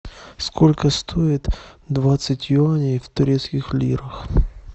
сколько стоит двадцать юаней в турецких лирах